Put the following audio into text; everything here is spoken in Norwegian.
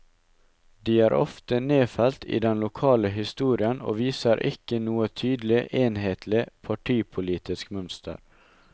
De er ofte nedfelt i den lokale historien og viser ikke noe tydelig, enhetlig, partipolitisk mønster.